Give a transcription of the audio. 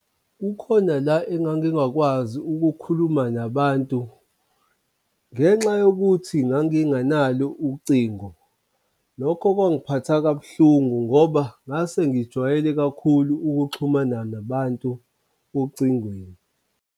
Kukhona la engangingakwazi ukukhuluma nabantu ngenxa yokuthi nganginganalo ucingo. Lokho kwangiphatha kabuhlungu ngoba ngase ngijwayele kakhulu ukuxhuma nabantu ocingweni.